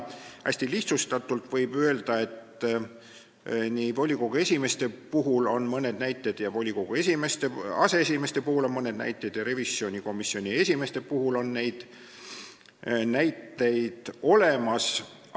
Hästi lihtsustatult võib öelda, et volikogu esimeeste kohta on mõned näited ja volikogu aseesimeeste kohta on mõned näited ja ka revisjonikomisjoni esimeeste kohta on neid näiteid olemas.